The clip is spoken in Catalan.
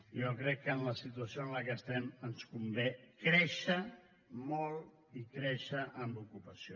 jo crec que en la situació en què estem ens convé créixer molt i créixer en ocupació